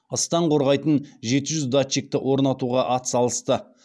ыстан қорғайтын жеті жүз датчикті орнатуға атсалысты